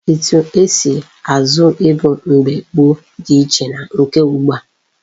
Etu esi azụ ego mgbe gboo dị iche na nke ugbu a.